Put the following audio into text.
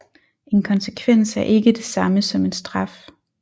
En konsekvens er ikke det samme som en straf